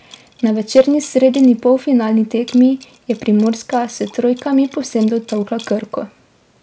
Na večerni sredini polfinalni tekmi je Primorska s trojkami povsem dotolkla Krko.